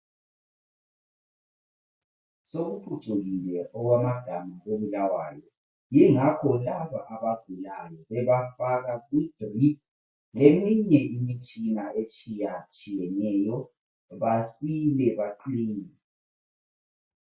Sokuphucukile okwamagama koBulawayo yingakho laba abagulayo bebafaka idrip leminye imitshina etshiyatshiyeneyo basile baqine.